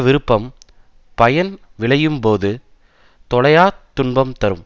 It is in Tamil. விருப்பம் பயன் விளையும் போது தொலையாத் துன்பம் தரும்